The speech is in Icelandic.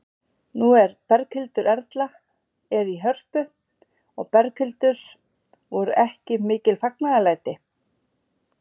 Nú Berghildur Erla er í Hörpu og Berghildur, voru ekki mikil fagnaðarlæti?